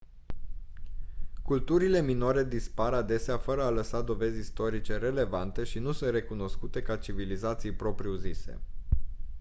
culturile minore dispar adesea fără a lăsa dovezi istorice relevante și nu sunt recunoscute ca civilizații propriu-zise